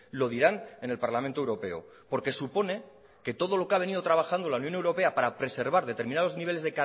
lo dirán en el parlamento europeo porque supone que todo lo que ha venido trabajando la unión europea para preservar determinados niveles